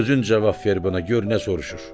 Özün cavab ver buna, gör nə soruşur?